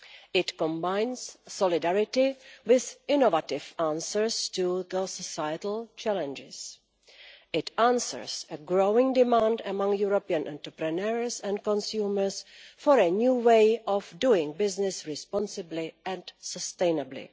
It combines solidarity with innovative answers to societal challenges. It answers the growing demand among European entrepreneurs and consumers for a new way of doing business responsibly and sustainably.